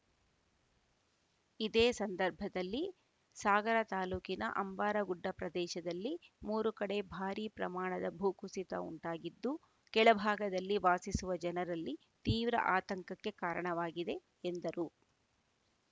ಇದೇ ಸಂದರ್ಭದಲ್ಲಿ ಸಾಗರ ತಾಲೂಕಿನ ಅಂಬಾರಗುಡ್ಡ ಪ್ರದೇಶದಲ್ಲಿಮೂರು ಕಡೆ ಭಾರೀ ಪ್ರಮಾಣದ ಭೂಕುಸಿತ ಉಂಟಾಗಿದ್ದು ಕೆಳಭಾಗದಲ್ಲಿ ವಾಸಿಸುವ ಜನರಲ್ಲಿ ತೀವ್ರ ಆತಂಕಕ್ಕೆ ಕಾರಣವಾಗಿದೆ ಎಂದರು